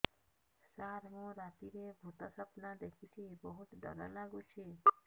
ସାର ମୁ ରାତିରେ ଭୁତ ସ୍ୱପ୍ନ ଦେଖୁଚି ବହୁତ ଡର ଲାଗୁଚି